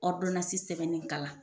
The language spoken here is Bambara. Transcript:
Ɔridonansi sɛbɛnni kalan